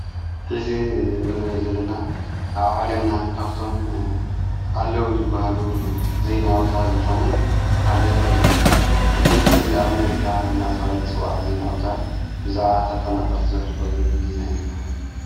ኂዚ ንርኣኦ ዘለና ኣብ ዓለምና ካፍቶም ኣለዉ ዝብሃሉ ዘይንኣውታር ዝኾነ ሓደ ድምፂ ኣሜሪካ እናተሃለት ጽዋዕ ዘይንኣውታር ብዛዓ ተ ፈነቐልቲ ዘኅልፎ ዘሎ ዘይና ያናረ።